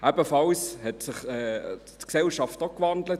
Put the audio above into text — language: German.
Auch hat sich die Gesellschaft gewandelt.